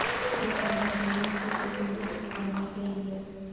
کس طرح دولہے کے سوٹ منتخب کرنے کے لئے